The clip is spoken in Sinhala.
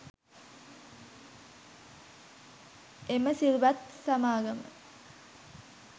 එම සිල්වත් සමාගම